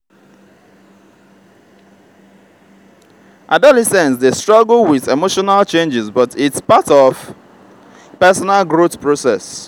adolescents dey struggle with emotional changes but it’s part of personal growth process.